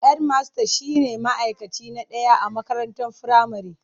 Hedmasta shine ma'aikaci na ɗaya a makarantar firamare.